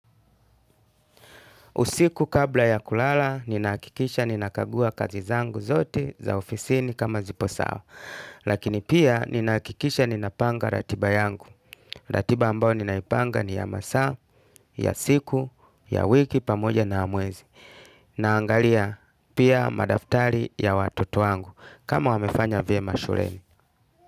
Usiku kabla ya kulala, ninaakikisha ninakagua kazi zangu zote za ofisini kama zipo sawa. Lakini pia ninaakikisha ninapanga ratiba yangu. Ratiba ambao ninaipanga ni ya masaa, ya siku, ya wiki, pamoja na ya mwezi. Naangalia pia madaftari ya watoto wangu kama wamefanya vyema shuleni.